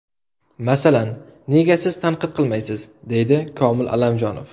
Masalan, nega siz tanqid qilmaysiz?”, deydi Komil Allamjonov.